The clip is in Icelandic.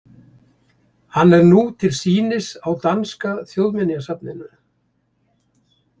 Hann er nú til sýnis á Danska þjóðminjasafninu.